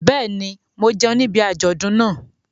Bẹ́ẹ̀ ni, mo jẹun níbi àjọ̀dún náà.